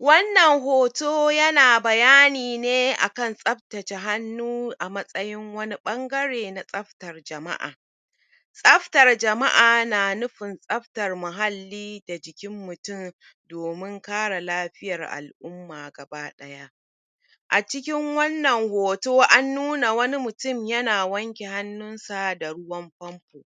wannan hoto yana bayani ne akan tsaftace hannu a matsayin wani bangare ne na tsafatan jama'a tsaftar jama'a na nufin tsaftan muhalli da jikin mutum domun kare lafiyar al'umma gaba daya acikin wannan hoto an nuna wani mutum yana wanke hannunsa da ruwan pompo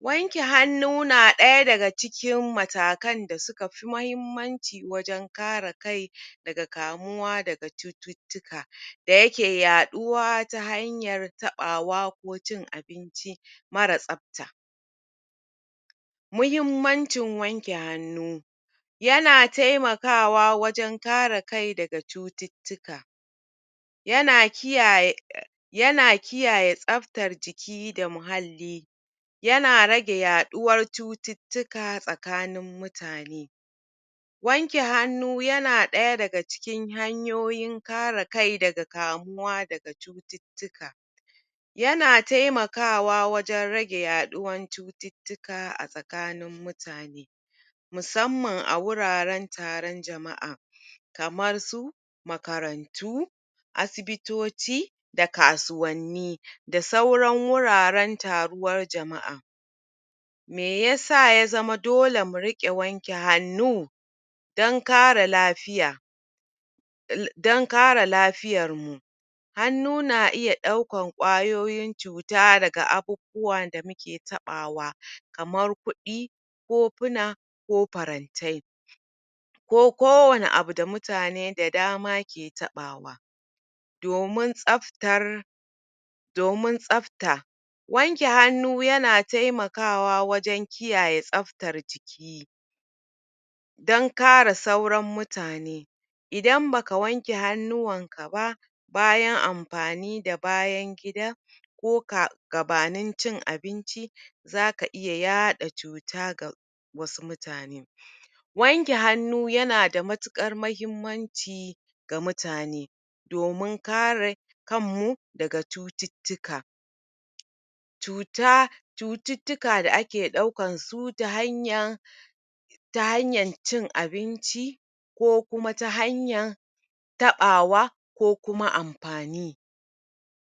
wanke hannu na daya daga cikin matakan dasukafi mahimmanci wajan kare kai daga kamuwa daga cututtuka dayake yaduwa ta hanyar tabawa ko cin abinci mara tsafta muhimmancin wanke hannu yana taimakawa wajan kare kai daga cututtuka yana kiyaye yana kiyaye tsaftar jiki da muhalli yana rage yaduwar cututtuka tsakanin mutane wanke hannu yana daya daga cikin hanyoyin kare kai daga kamuwa daga cutittika yana taimakawa wajan rage yaduwan cututtuka a sakanin mutane mussanman a wuraran taron jama'a kaman su makarantu asisitoci da kasuwanni da sauran wuraran taruwar jama'a meyasa yazama dole murike wanke hannu dan kara lafiya (L) dan kare lafiyarmu hannu na iya daukan kwayoyin cuta daga abubuwan damuke tabawa kaman kudi kofuna ko farantai ko kowani abu da mutane da dama ke tabawa domun tsaftar domun tsafta wanke hannu yana taimakawa wajan kiyaye tsaftar jiki dan kara sauran mutane idan baka wanke hannuwanka ba bayan amfanida bayan gida koka gabanin cin abinci zaka iya yaaɗa cuta ga wasu mutane wanke hannu yana da matukar mahimmanci ga mutane domun kare kanmu daga cutittuka cuta cututtuka da ake daukansu ta hanya ta hanyan cin abinci kokuma ta hanya tabawa kokuma amfani